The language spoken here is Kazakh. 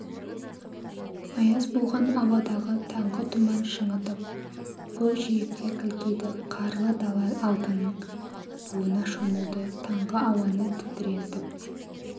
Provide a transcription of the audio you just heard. аяз буған ауадағы таңғы тұман шаңытып көкжиекте кілкиді қарлы дала алтынның буына шомылды таңғы ауаны тітірентіп